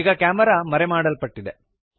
ಈಗ ಕ್ಯಾಮೆರಾ ಮರೆಮಾಡಲ್ಪಟ್ಟಿದೆ